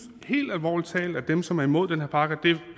helt alvorlig talt at dem som er imod den her pakke